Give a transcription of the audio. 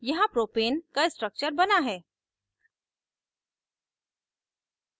यहाँ propane का structure बना है